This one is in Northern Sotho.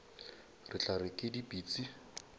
re tla re ke dipitsi